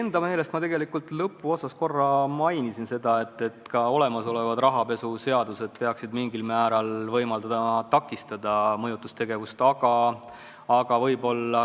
Enda meelest ma oma ettekande lõpuosas mainisin, et ka olemasolevad rahapesu käsitlevad seadused peaksid mingil määral võimaldama takistada mõjutustegevust.